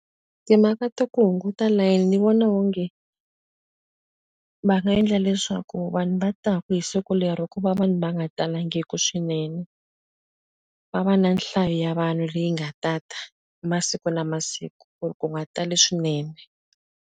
Timhaka ta ku hunguta layeni ni vona onge va nga endla leswaku vanhu va taka hi siku lero ku va vanhu va nga talangiki swinene. Va va na nhlayo ya vanhu leyi nga tata masiku na masiku, ku ri ku nga tali swinene.